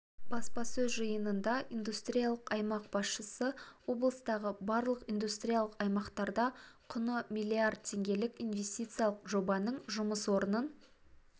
баспасөз жиынында индустриялық аймақ басшысы облыстағы барлық индустриялық аймақтарда құны млрд теңгелік инвестициялық жобаның жұмыс орнын